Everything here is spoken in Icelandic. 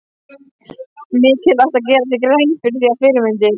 Mikilvægt er að gera sér grein fyrir því að fyrirmyndir